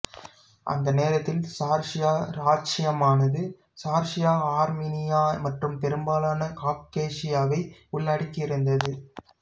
அந்நேரத்தில் சார்சியா இராச்சியமானது சார்சியா ஆர்மீனியா மற்றும் பெரும்பாலான காக்கேசியாவை உள்ளடக்கியிருந்தது